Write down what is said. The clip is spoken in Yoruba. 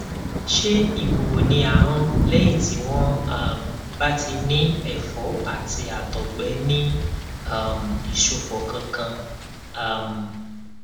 ṣé ìwúwo ní ahọn lẹyìn tí wọn um bá ti ní ẹfọ àti àtọgbẹ ní um ìsopọ kankan um